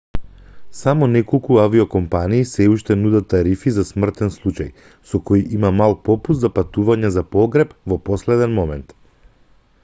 само неколку авиокомпании сѐ уште нудат тарифи за смртен случај со кои има мал попуст за патување за погреб во последен момент